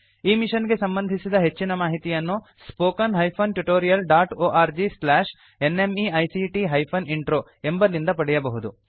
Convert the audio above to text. ಈ ಮಿಷನ್ ಗೆ ಸಂಬಂಧಿಸಿದ ಹೆಚ್ಚಿನ ಮಾಹಿತಿಯನ್ನು spoken hyphen tutorial dot org slash NMEICT hyphen intro ಎಂಬಲ್ಲಿಂದ ಪಡೆಯಬಹುದು